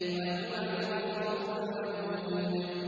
وَهُوَ الْغَفُورُ الْوَدُودُ